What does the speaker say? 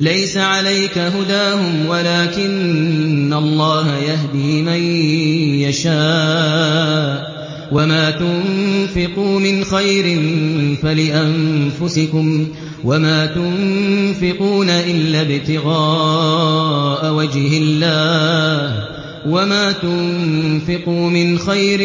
۞ لَّيْسَ عَلَيْكَ هُدَاهُمْ وَلَٰكِنَّ اللَّهَ يَهْدِي مَن يَشَاءُ ۗ وَمَا تُنفِقُوا مِنْ خَيْرٍ فَلِأَنفُسِكُمْ ۚ وَمَا تُنفِقُونَ إِلَّا ابْتِغَاءَ وَجْهِ اللَّهِ ۚ وَمَا تُنفِقُوا مِنْ خَيْرٍ